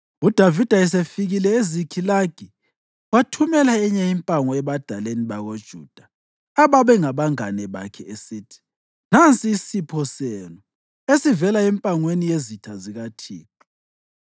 UDavida esefikile eZikhilagi, wathumela enye impango ebadaleni bakoJuda, ababengabangane bakhe, esithi, “Nansi isipho senu esivela empangweni yezitha zikaThixo.”